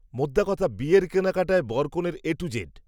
মোদ্দা কথা, বিয়ের কেনাকাটায়, বরকনের, এ টু জেড